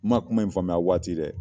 Ma kuma in faamuya a waati dɛ!